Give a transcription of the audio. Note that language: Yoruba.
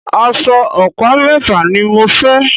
Aṣọ ọ̀pá mẹ́fà ni mo fẹ́